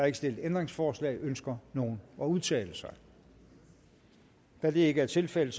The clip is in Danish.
ikke stillet ændringsforslag ønsker nogen at udtale sig da det ikke er tilfældet